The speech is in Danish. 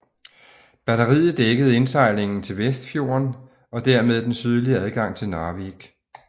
Batteriet dækkede indsejlingen til Vestfjorden og dermed den sydlige adgang til Narvik